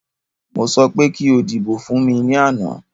Mo sọ pé kí o dìbò fún mí ní àná